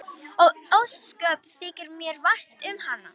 Og ósköp þykir mér vænt um hana.